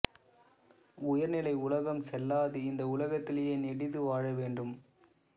உயர்நிலை உலகம் செல்லாது இந்த உலகத்திலேயே நெடிது வாழ வேண்டும்